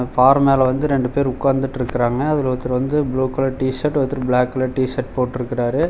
பாற மேல வந்து ரெண்டு பேரு ஒக்காந்துட்ருக்குறாங்க அதுல ஒருத்தர் வந்து ப்ளூ கலர் டிஷர்ட் ஒருத்தர் பிளாக் கலர் டிஷர்ட் போட்டுருக்குறாரு.